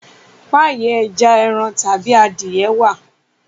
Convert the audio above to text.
Páyì eja, èràn tàbí adìye wá.